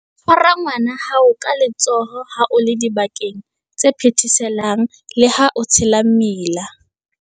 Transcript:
Tshwara ngwana wa hao ka letsoho ha o le dibakeng tse phetheselang le ha o tshela mmila.